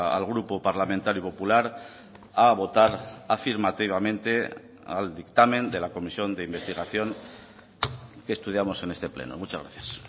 al grupo parlamentario popular a votar afirmativamente al dictamen de la comisión de investigación que estudiamos en este pleno muchas gracias